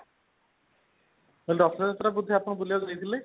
ମୁଁ କହିଲି ରଥଯାତ୍ରାକୁ ବୋଧେ ଆପଣ ବୁଲିବାକୁ ଯାଇଥିଲେ ?